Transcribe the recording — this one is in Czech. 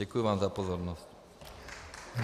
Děkuji vám za pozornost.